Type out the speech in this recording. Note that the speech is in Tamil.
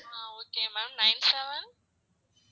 ah okay ma'am nine seven